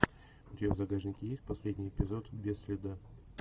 у тебя в загашнике есть последний эпизод без следа